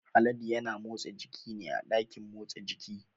Haladu ya na motsa jiki ne a ɗakin motsa jiki